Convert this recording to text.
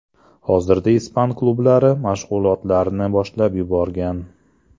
Hozirda ispan klublari mashg‘ulotlarni boshlab yuborgan.